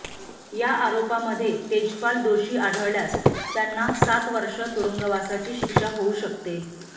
या आरोपामध्ये तेजपाल दोषी आढळल्यास त्यांना सात वर्ष तुरुंगवासाची शिक्षा होऊ शकते